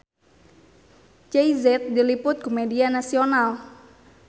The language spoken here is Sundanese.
Jay Z diliput ku media nasional